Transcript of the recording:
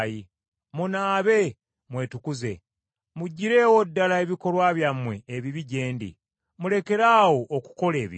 Munaabe, mwetukuze muggirewo ddala ebikolwa byammwe ebibi gye ndi, mulekeraawo okukola ebibi.